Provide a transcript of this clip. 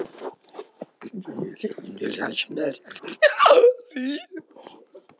Smári birtist strax innan úr skrifstofuherbergi og heilsaði